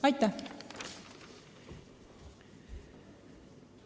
Aitäh!